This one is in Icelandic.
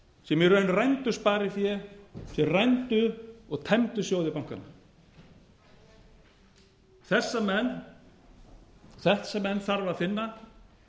sem í raun rændu sparifé þeir rændu og tæmdu sjóði bankanna þessa menn þarf að finna og